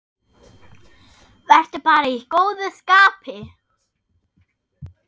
Vertu bara í góðu skapi.